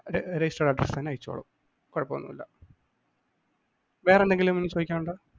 രെ registered address ൽ തന്നെ അയച്ചോളും. കുഴപ്പമൊന്നുമില്ല വേറെന്തെങ്കിലും ചോദിക്കാനുണ്ടോ?